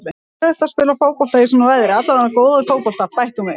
Það er erfitt að spila fótbolta í svona veðri, allavega góðan fótbolta, bætti hún við.